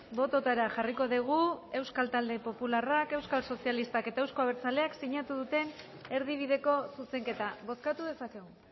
bototara jarriko dugu euskal talde popularrak euskal sozialistak eta euzko abertzaleak sinatu duten erdibideko zuzenketa bozkatu dezakegu